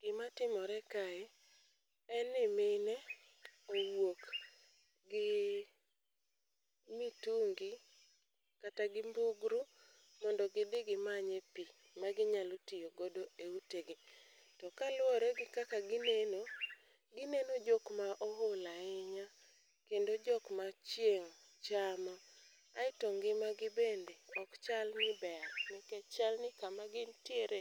Gimatimore kae, en ni mine owuok gi mitungi kata gi mbugru mondo gidhi gimanye pi ma ginyalo tiyo godo e utegi. To kaluwore gi kaka gineno, gineno jok ma ool ahinya kendo jok machieng' chamo, aeto ngimagi bende, ok chal ni ber nikech chalni kama gintiere